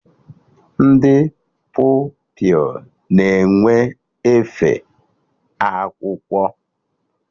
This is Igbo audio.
Ndị Pupilụ na-enwe efe akwụkwọ.